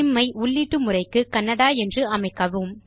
ஸ்சிம் ஐ உள்ளீட்டு முறைக்கு கன்னடா என்று அமைக்கவும்